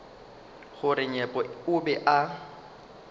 gore nyepo o be a